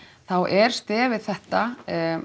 þá er stefið þetta